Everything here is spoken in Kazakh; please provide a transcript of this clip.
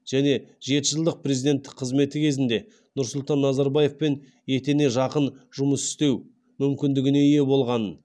және жеті жылдық президенттік қызметі кезінде нұрсұлтан назарбаевпен етене жақын жұмыс істеу мүмкіндігіне ие болғанын